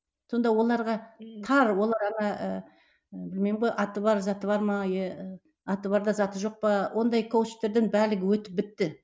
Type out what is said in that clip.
сонда оларға тар олар ана ыыы білмеймін ғой аты бар заты бар ма иә ы аты бар да заты жоқ па ондай коучтардан барлығы өтіп бітті